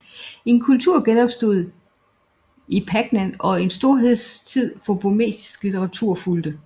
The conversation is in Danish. En kultur genopstod i Pagan og en storhedstid for burmesisk litteratur fulgte